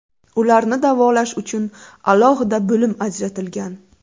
Ularni davolash uchun alohida bo‘lim ajratilgan.